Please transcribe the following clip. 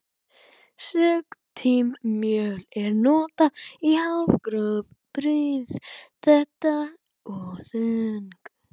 Sigtimjöl er notað í hálfgróf brauð, þétt og þung.